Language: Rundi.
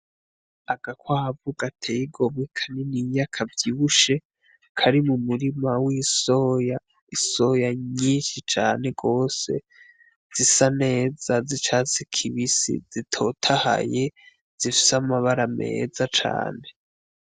Agakwavu gatey'igomwe kanininya kavyibushe Kari mumurima w'isoya, isoya nyishi cane gose, zisa neza zicasi kibisi, zitotahaye zifise amabara meza cane.